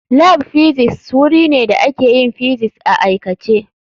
Lab Physics wuri ne da ake yin physics a aikace.